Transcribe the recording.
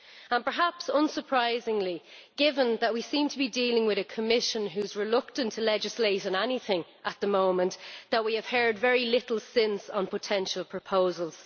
and, perhaps unsurprisingly given that we seem to be dealing with a Commission which is reluctant to legislate on anything at the moment, we have heard very little since then on potential proposals.